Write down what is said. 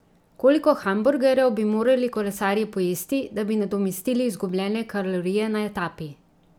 Koliko hamburgerjev bi morali kolesarji pojesti, da bi nadomestili izgubljene kalorije na etapi?